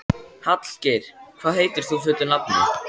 Hallgeir, hvað heitir þú fullu nafni?